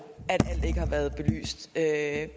at